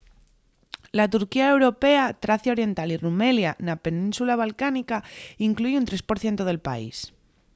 la turquía europea tracia oriental o rumelia na península balcánica inclúi un 3% del país